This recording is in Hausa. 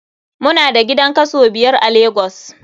Mu na da gidan kaso biyar a lagos.